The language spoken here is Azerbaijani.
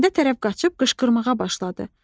Kəndə tərəf qaçıb qışqırmağa başladı.